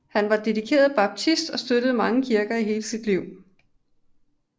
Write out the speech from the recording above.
Han var dedikeret baptist og støttede mange kirker i hele sit liv